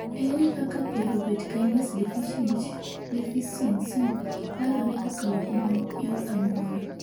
Ere kakapyruvate kinase deficiecy landore kokalo kuom yor anyuola